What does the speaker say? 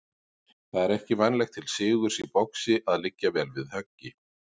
Það er ekki vænlegt til sigurs í boxi að liggja vel við höggi.